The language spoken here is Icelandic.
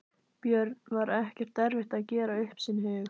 Björn: Var ekkert erfitt að gera upp sinn hug?